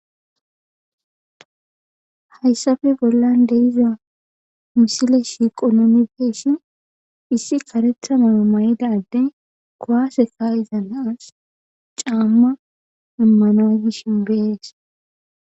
Hayssafe bollan dehiza misile shiqonomifeeshin issi karethana may7ida addey kowaaseka iza naas caamma immanagishinbeees